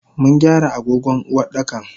Mungyara agogon Uwardakan.